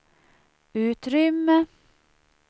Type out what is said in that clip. utrymme